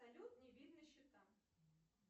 салют не видно счета